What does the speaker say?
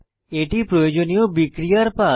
এটি প্রয়োজনীয় বিক্রিয়ার পাথ